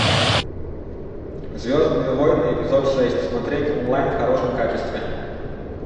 звездные войны эпизод шесть смотреть онлайн в хорошем качестве